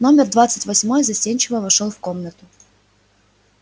номер двадцать восьмой застенчиво вошёл в комнату